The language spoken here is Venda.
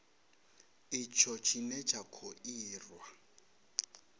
itsho tshine tsha kho irwa